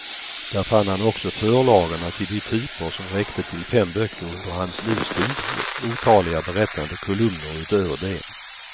Där fann han också förlagorna till de typer som räckte till fem böcker under hans livstid och otaliga berättande kolumner utöver det.